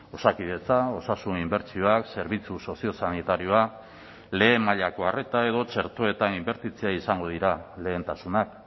osakidetza osasun inbertsioak zerbitzu soziosanitarioa lehen mailako arreta edo txertoetan inbertitzea izango dira lehentasunak